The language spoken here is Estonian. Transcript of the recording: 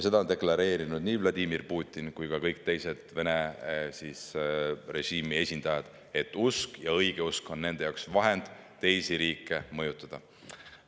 Seda on deklareerinud nii Vladimir Putin kui ka kõik teised Vene režiimi esindajad, et usk, õigeusk, on nende jaoks vahend, millega teisi riike mõjutada.